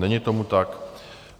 Není tomu tak.